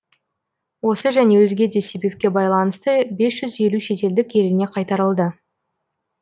осы және өзге де себепке байланысты бес жүз елу шетелдік еліне қайтарылды